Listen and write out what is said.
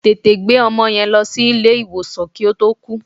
Tètè gbé ọmọ yẹn lọ sí ilé ìwòsàn kí ó tó kú.